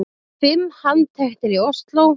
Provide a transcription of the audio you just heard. Fimm handteknir í Ósló